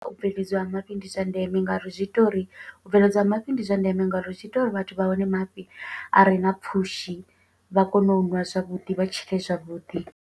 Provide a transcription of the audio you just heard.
U bveledziwa ha mafhi ndi zwa ndeme nga uri zwi ita uri, u bveledzwa ha mafhi ndi zwa ndeme nga uri zwi ita uri vhathu vha wane mafhi a re na pfushi. Vha kone u ṅwa zwavhuḓi, vha tshile zwavhuḓi.